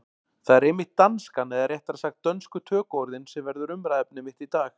Það er einmitt danskan, eða réttara sagt dönsku tökuorðin, sem verður umræðuefni mitt í dag.